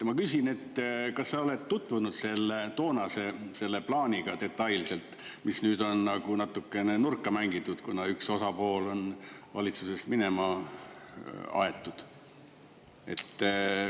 Ma küsin, kas sa oled tutvunud selle toonase plaaniga detailselt, mis nüüd on nagu natukene nurka mängitud, kuna üks osapool on valitsusest minema aetud.